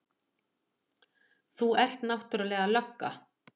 Þú ert náttúrlega lögga.